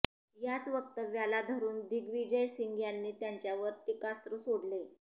याच वक्तव्याला धरून दिग्विजय सिंग यांनी त्यांच्यावर टीकास्त्र सोडले